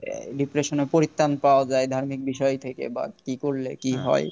Dipression এ পরিত্রান পাওয়া যায় ধার্মিক বিষয় থেকে বা কি করলে কি হয়